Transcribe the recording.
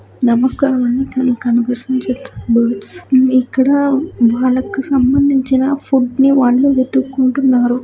నమస్కారమండి ఇక్కడ మనకు కనిపించిన చిత్రంలో ఇక్కడ వాళ్లకు సంబంధించిన ఫుడ్ ని వాళ్ళు వెతుకుంటున్నారు.